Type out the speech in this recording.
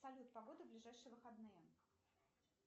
салют погода в ближайшие выходные